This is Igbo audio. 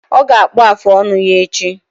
Ọ ga-akpụ afụ ọnụ ya echi